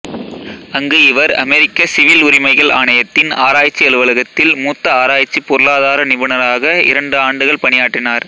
அங்கு இவர் அமெரிக்க சிவில் உரிமைகள் ஆணையத்தின் ஆராய்ச்சி அலுவலகத்தில் மூத்த ஆராய்ச்சி பொருளாதார நிபுணராக இரண்டு ஆண்டுகள் பணியாற்றினார்